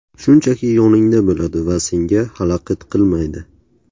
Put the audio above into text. Shunchaki yoningda bo‘ladi va senga xalaqit qilmaydi”.